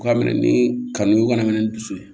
U ka minɛ ni kanu ye u kana minɛ ni dusu ye